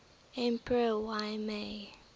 emperor y mei